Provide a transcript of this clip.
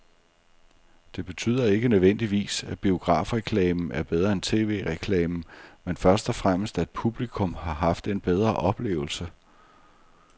Det betyder ikke nødvendigvis, at biografreklamen er bedre end tv-reklamen, men først og fremmest at publikum har haft en bedre oplevelse.